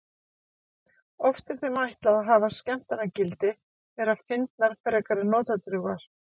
Oft er þeim ætlað að hafa skemmtanagildi, vera fyndnar frekar en notadrjúgar.